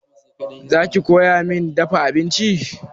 Za ki koya min dafa abinci?